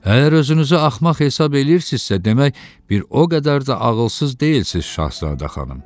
Əgər özünüzü axmaq hesab eləyirsinizsə, demək bir o qədər də ağılsız deyilsiz Şahzadə xanım.